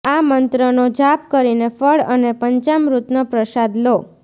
આ મંત્રનો જાપ કરીને ફળ અને પંચામૃતનો પ્રસાદ લો